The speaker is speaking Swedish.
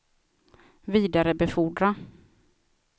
vidarebefordra